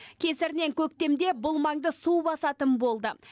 кесірінен көктемде бұл маңды су басатын болды